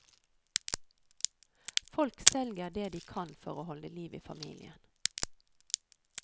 Folk selger det de kan for å holde liv i familien.